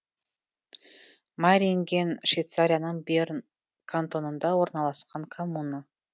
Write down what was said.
майринген швейцарияның берн кантонында орналасқан коммуна